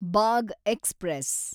Bagh express